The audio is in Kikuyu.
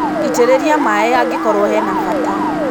Ĩtĩrĩria maĩ angĩkorũo hena bata.